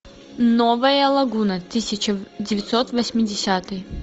новая лагуна тысяча девятьсот восьмидесятый